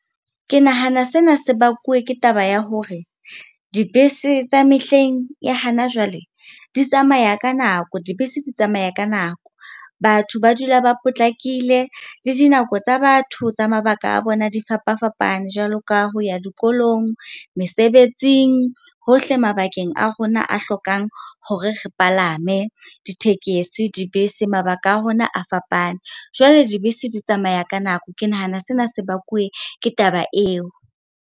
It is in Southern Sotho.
Ke nahana sena se bakuwe ke taba ya hore dibese tsa mehleng ya hana jwale di tsamaya ka nako, dibese di tsamaya ka nako. Batho ba dula ba potlakile le dinako tsa batho tsa mabaka a bona di fapafapane, jwalo ka ho ya dikolong, mesebetsing, hohle mabakeng a rona a hlokang hore re palame ditekesi, dibese mabaka a rona a fapane. Jwale, dibese di tsamaya ka nako, ke nahana sena se bakuwe ke taba eo.